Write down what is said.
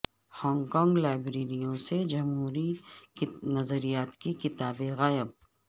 Hong Kong لائبریریوں سے جمہوری نظریات کی کتابیں غائب